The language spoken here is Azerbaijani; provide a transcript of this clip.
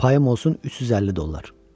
Payım olsun 350 dollar.